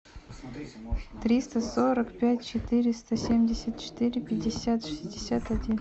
триста сорок пять четыреста семьдесят четыре пятьдесят шестьдесят один